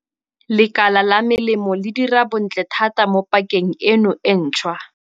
Lekala la melemo le dira bontle thata mo pakeng eno e ntšhwa.